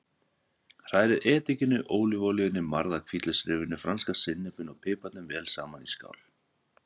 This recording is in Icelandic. Hrærið edikinu, ólívuolíunni, marða hvítlauksrifinu, franska sinnepinu og piparnum vel saman í skál.